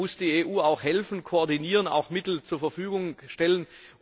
Da muss die EU helfen, koordinieren, auch Mittel zur Verfügung stellen.